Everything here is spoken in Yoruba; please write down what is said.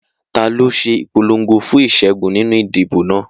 Ta ló ń ṣe ìpolongo fún ìṣẹ́gun nínú ìdìbò náà?